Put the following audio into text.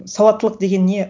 сауаттылық деген не